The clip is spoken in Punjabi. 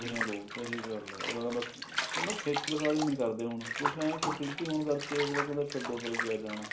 ਸਹੀ ਗੱਲ ਆ ਉਹ ਨਾ ਖੇਚਲਦਾਰੀ ਨੀ ਕਰਦੇ ਹੁਣ ਕੁੱਝ ਇਹ ਹੈ facility ਹੋਣ ਕਰਕੇ ਅਗਲਾ ਕਹਿੰਦਾ ਛੱਡੋ ਪਰੇ ਕਿਆ ਜਾਣਾ